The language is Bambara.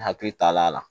N hakili taa la